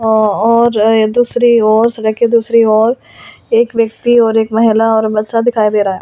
और ए दूसरी ओर सड़क के दूसरी ओर एक व्यक्ति और एक महिला और बच्चा दिखाई दे रहा है।